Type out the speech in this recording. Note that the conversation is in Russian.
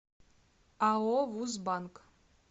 ао вуз банк